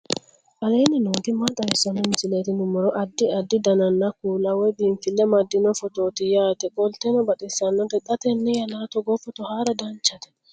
aleenni nooti maa xawisanno misileeti yinummoro addi addi dananna kuula woy biinfille amaddino footooti yaate qoltenno baxissannote xa tenne yannanni togoo footo haara danchate